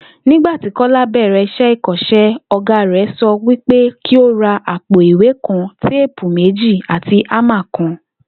Nígbà tí Kó̩lá bè̩rè̩ ìkó̩s̩é̩, ò̩gá rè̩ so̩ wípé kí ó ra àpò ìwé kan, téèpù méjì àti ámà kan